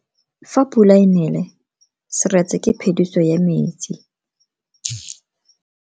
Fa pula e nele seretse ke phediso ya metsi.